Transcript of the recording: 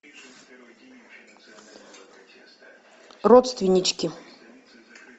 родственнички